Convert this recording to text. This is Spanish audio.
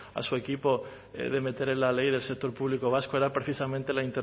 a su equipo de meter en la ley del sector público vasco era precisamente la